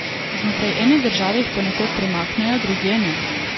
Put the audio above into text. Znotraj ene države jih ponekod premaknejo, drugje ne.